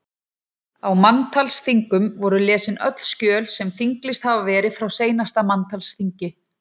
Á manntalsþingum voru lesin öll skjöl sem þinglýst hafði verið frá seinasta manntalsþingi.